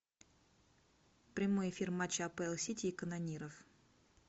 прямой эфир матча апл сити и канониров